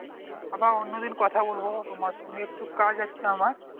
আবার অন্য দিন কথা বলবো তোমার সঙ্গে একটু কাজ আছে আমার